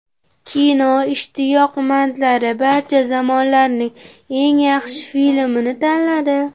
Kino ishtiyoqmandlari barcha zamonlarning eng yaxshi filmini tanladi.